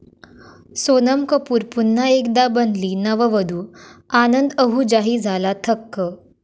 सोनम कपूर पुन्हा एकदा बनली नववधू, आनंद आहुजाही झाला थक्क!